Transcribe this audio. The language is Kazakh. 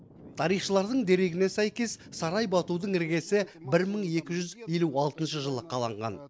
тарихшылардың дерегіне сәйкес сарай батудың іргесі бір мың екі жүз елу алтыншы жылы қаланған